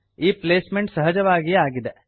ಈ placement ಸಹಜವಾಗಿಯೇ ಆಗಿದೆ